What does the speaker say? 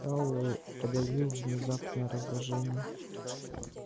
пауэлл подавил внезапное раздражение